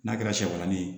N'a kɛra sɛbanni ye